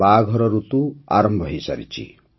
ବାହାଘର ଋତୁ ଆରମ୍ଭ ହୋଇସାରିଛି